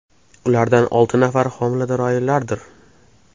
Ulardan olti nafari homilador ayollardir.